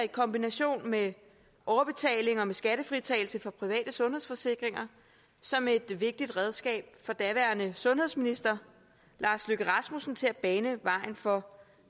i kombination med overbetaling og med skattefritagelse for private sundhedsforsikringer som et vigtigt redskab for daværende sundhedsminister lars løkke rasmussen til at bane vejen for